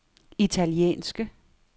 italienske